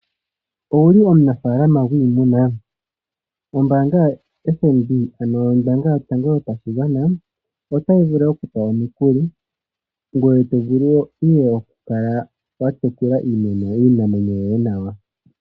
Owuli omunafaalama gwiimuna, ombaanga yotango yopashigwana otayi vulu oku kupa omukuli, ngoye to vulu ihe oku kala wa tekula iinamwenyo yoye nawa.